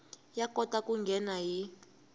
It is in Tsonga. ya kota ku nghena hi